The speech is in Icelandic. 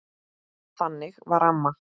Þannig var amma.